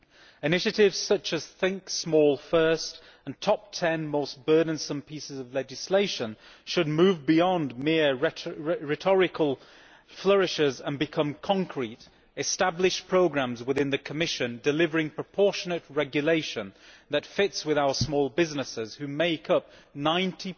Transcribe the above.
Initiatives such as Think Small First' and the Top 10 most burdensome pieces of legislation should move beyond mere rhetorical flourishes and become concrete, established programmes within the Commission, delivering proportionate regulation that fits with our small businesses, which make up 90